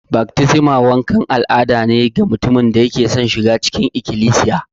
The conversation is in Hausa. Baftisma wankan al'ada ne ga mutumin da yake son shiga cikin Ikilisiya.